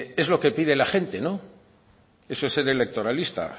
es lo que pide la gente eso es ser electoralista